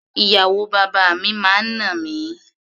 Ìyàwó bàbá mi máa ń nà mí.